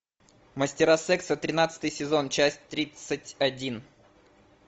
мастера секса тринадцатый сезон часть тридцать один